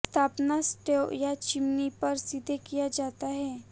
स्थापना स्टोव या चिमनी पर सीधे किया जाता है